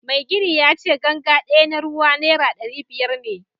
Mai gini yace ganga daya na ruwa naira dari biyar ne